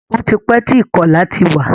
Ó ti pẹ́ tí ìkọlà ti wà.